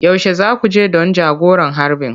Yaushe za ku je don jagoran harbin?